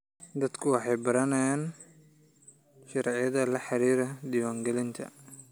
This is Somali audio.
Dadku waxay baranayaan sharciyada la xiriira diiwaangelinta.